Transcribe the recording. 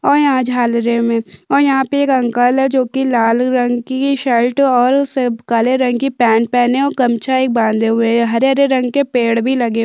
और यहाँ झालरे मे और यहाँ पे एक अंकल हैं जो की लाल रंग की शर्ट और सप काले रंग की पैंट पहनी हैं और गमछा भी बांधे हुए है हरे-हरे रंग के पेड़ भी लगे--